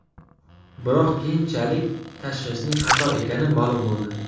Biroq keyinchalik tashxisning xato ekani ma’lum bo‘ldi.